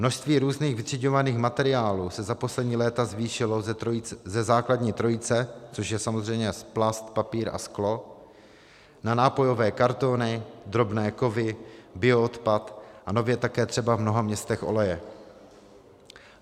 Množství různých vytřiďovaných materiálů se za poslední léta zvýšilo ze základní trojice, což je samozřejmě plast, papír a sklo, na nápojové kartony, drobné kovy, bioodpad a nově také třeba v mnoha městech oleje.